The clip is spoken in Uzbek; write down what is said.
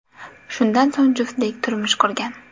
Shundan so‘ng juftlik turmush qurgan.